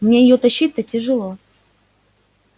мне её тащить-то тяжело